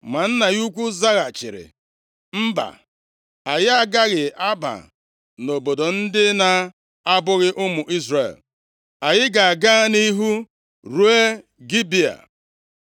Ma nna ya ukwu zaghachiri, “Mba! Anyị agaghị aba nʼobodo ndị na abụghị ụmụ Izrel. Anyị ga-aga nʼihu ruo Gibea.”